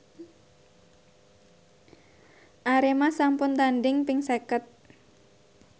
Arema sampun tandhing ping seket